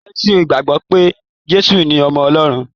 Kírísítẹ́nì gbagbọ pe Jésù ní ọmọ Ọlọrun.